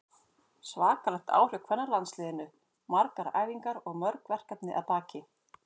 Svakalegt ár hjá kvennalandsliðinu, margar æfingar og mörg verkefni að baki.